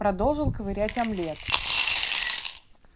продолжил ковырять омлет